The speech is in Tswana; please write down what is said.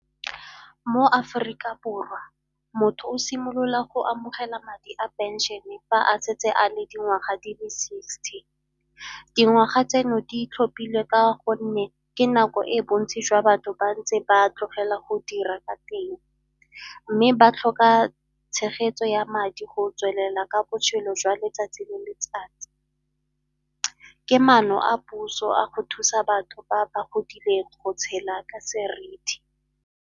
Mo Aforika Borwa motho o simolola go amogela madi a pension-e fa a setse a le dingwaga di sixty. Dingwaga tseno di tlhophilwe ka gonne ke nako e bontsi jwa batho ba ntse ba a tlogela go dira ka teng mme ba tlhoka tshegetso ya madi go tswelela ka botshelo jwa letsatsi le letsatsi. Ke maano a puso a go thusa batho ba ba godile go tshela ka seriti.